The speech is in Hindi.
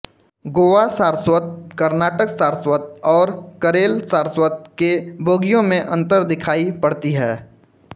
गोवा सारस्वत कर्नाटक सारस्वत और करेल सारस्वत के बोलियों में अंतर दिखाई पड़ती है